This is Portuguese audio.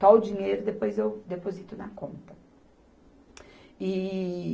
o dinheiro, depois eu deposito na conta. E